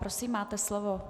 Prosím, máte slovo.